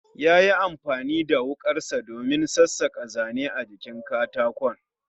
Yayi amfani da wukarsa domin sassaka Zane a jikin katakon